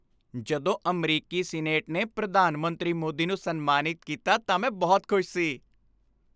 ਜਦੋਂ ਅਮਰੀਕੀ ਸੀਨੇਟ ਨੇ ਪ੍ਰਧਾਨ ਮੰਤਰੀ ਮੋਦੀ ਨੂੰ ਸਨਮਾਨਿਤ ਕੀਤਾ ਤਾਂ ਮੈਂ ਬਹੁਤ ਖੁਸ਼ ਸੀ।